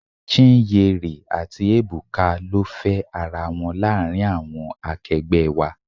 Chinyere àti Ebuka ló fe ara wọn láàárín àwọn akegbe wá.